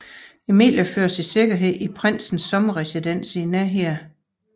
Emilie føres i sikkerhed i prinsens sommerresidens i nærheden